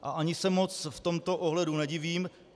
A ani se moc v tomto ohledu nevidím.